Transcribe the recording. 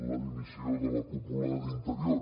la dimissió de la cúpula d’interior